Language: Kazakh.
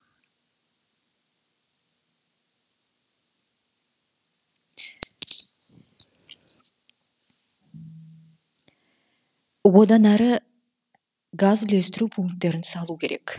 одан әрі газ үлестіру пункттерін салу керек